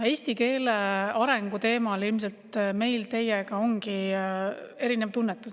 Eesti keele arengu teemal ilmselt meil teiega ongi erinev tunnetus.